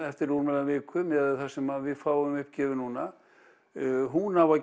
eftir rúmlega viku miðað við það sem við fáum uppgefið núna hún á að